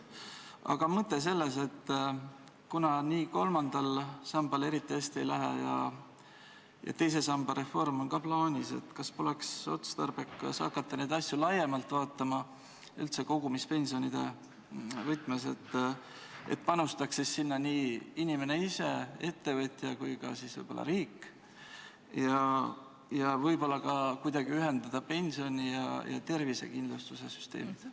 Aga mõte on selles, et kuna kolmandal sambal eriti hästi ei lähe ja teise samba reform on ka plaanis, kas poleks siis otstarbekas hakata neid asju laiemalt vaatama, üldse kogumispensionide võtmes, et sinna panustaks inimene ise, ettevõtja ja ka võib-olla riik ning võib-olla kuidagi ühendada pensioni- ja tervisekindlustuse süsteemid.